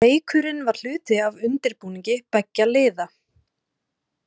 Leikurinn var hluti af undirbúningi beggja liða.